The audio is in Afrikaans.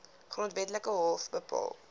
grondwetlike hof bepaal